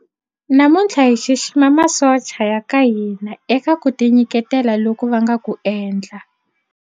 Namuntlha hi xixima masocha ya ka hina eka ku tinyiketela loku va nga ku endla.